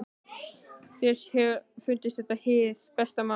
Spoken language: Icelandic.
Þér hefur fundist þetta hið besta mál?